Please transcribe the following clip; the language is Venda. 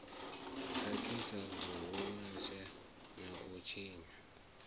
khakhisa zwihulusa na u tshinya